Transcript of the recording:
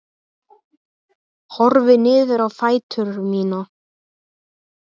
Horfi niður á fætur mína.